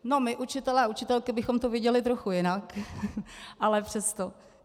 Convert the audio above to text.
No my učitelé a učitelky bychom to viděli trochu jinak, ale přesto.